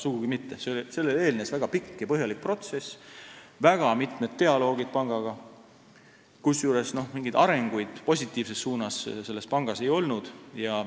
Sugugi mitte, sellele eelnes väga pikk ja põhjalik protsess, oli ka pangaga mitmeid dialooge, kusjuures mingeid positiivseid arengusuundi selles pangas ei olnud.